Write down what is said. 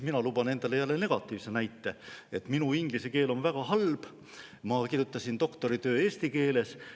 Mina luban endale jälle negatiivse näite: minu inglise keel on väga halb, ma kirjutasin doktoritöö eesti keeles.